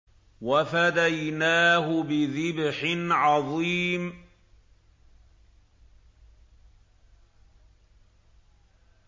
وَفَدَيْنَاهُ بِذِبْحٍ عَظِيمٍ